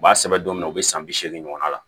U b'a sɛbɛn don min na u be san bi seegin ɲɔgɔn na